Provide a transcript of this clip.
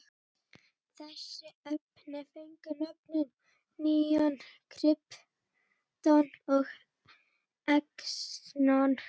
Þessi efni fengu nöfnin neon, krypton og xenon.